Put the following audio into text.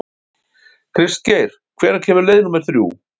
Kristgeir, hvenær kemur leið númer þrjú?